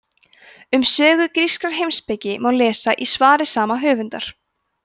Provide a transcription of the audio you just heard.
um sögu grískrar heimspeki má lesa í svari sama höfundar